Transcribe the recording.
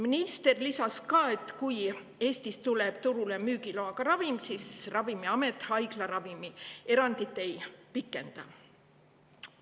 Minister lisas ka, et kui Eestis tuleb turule müügiloaga ravim, siis Ravimiamet selle puhul ei pikenda.